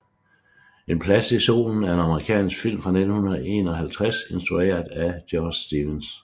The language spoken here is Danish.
En plads i solen er amerikansk film fra 1951 instrueret af George Stevens